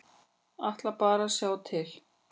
Ætla bara að sjá til.